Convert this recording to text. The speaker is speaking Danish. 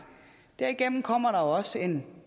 derigennem kommer der også en